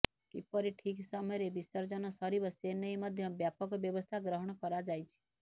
କିପରି ଠିକ୍ ସମୟରେ ବିସର୍ଜନ ସରିବ ସେନେଇ ମଧ୍ୟ ବ୍ୟାପକ ବ୍ୟବସ୍ଥା ଗ୍ରହଣ କରାଯାଇଛି